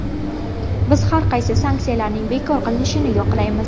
Biz har qanday sanksiyalarning bekor qilinishini yoqlaymiz.